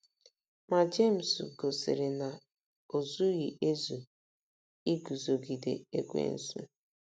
Ma Jemis um gosiri na o um zughị ezu ' um iguzogide Ekwensu. '